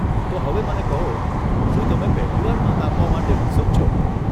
તો હવે મને કહો, શું તમે પહેલી વાર મત આપવા માટે ઉત્સુક છો?